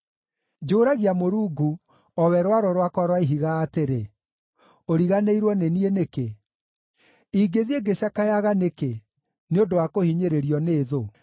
Njũũragia Mũrungu, o we rwaro rwakwa rwa Ihiga, atĩrĩ, “Ũriganĩirwo nĩ niĩ nĩkĩ? Ingĩthiĩ ngĩcakayaga nĩkĩ, nĩ ũndũ wa kũhinyĩrĩirio nĩ thũ?”